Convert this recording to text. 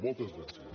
moltes gràcies